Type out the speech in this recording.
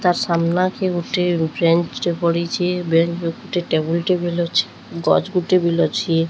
ତା ସାମ୍ନାକେ ଗୁଟେ ବେଞ୍ଚ ଟେ ପଡିଚେ। ବେଞ୍ଚ ଉପରେ ଟେବୁଲ୍ ଟେ ଅଛେ। ଗଚ ଗୁଟେ ବୋଲେ ଅଛେ।